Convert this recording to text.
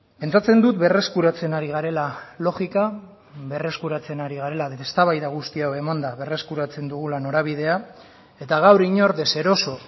pentsatzen dut berreskuratzen ari garela logika berreskuratzen ari garela eztabaida guzti hau emanda berreskuratzen dugula norabidea eta gaur inor deseroso